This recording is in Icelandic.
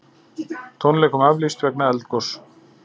Tónleikum aflýst vegna eldgoss